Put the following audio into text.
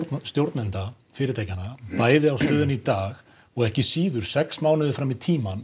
stjórnenda fyrirtækjanna bæði á stöðunni í dag og ekki síður sex mánuði fram í tímann